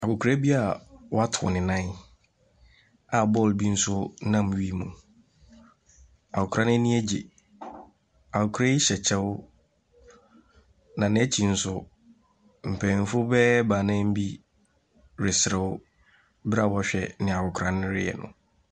Akwakora a wɔatow no nan aball bi nso nam wiem. Akwakora yi ani agye. Akwakora yi hyɛ kyɛw. Na n'akyi nso, mpanyimfo bɛyɛ baanan bi reserew bere a wɔrehwɛ ne akwakora reyɛ.